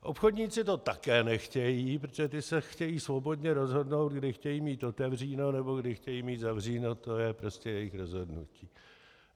Obchodníci to také nechtějí, protože ti se chtějí svobodně rozhodnout, kdy chtějí mít otevřeno nebo kdy chtějí mít zavřeno, to je prostě jejich rozhodnutí.